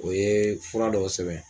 O ye fura dɔw sɛbɛ.